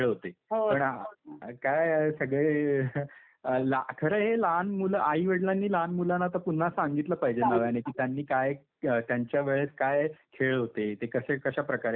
पण हा काय आहे सगळे ला खरं हे लहान मुलं, आईवडिलांनी लहान मुलांना तर पुन्हा सांगितलं पाहिजे नव्यानी. की त्यांनी काय त्यांच्या वेळेस काय खेळ होते. ते कसे कशाप्रकारे खेळायचे.